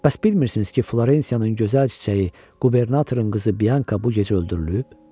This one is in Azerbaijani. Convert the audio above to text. bəs bilmirsiniz ki, Florensiyanın gözəl çiçəyi, qubernatorun qızı Bianka bu gecə öldürülüb?